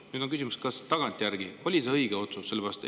Nüüd on küsimus, kas tagantjärele oli see õige otsus.